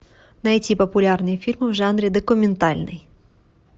найти популярные фильмы в жанре документальный